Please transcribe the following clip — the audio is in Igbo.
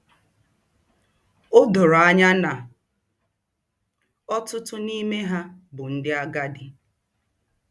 O doro anya na ọtụtụ n'ime ha bụ ndị agadi.